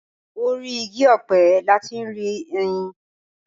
Orí igi ọ̀pẹ la ti ń rí ẹyìn.